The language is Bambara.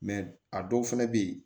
a dɔw fɛnɛ bɛ yen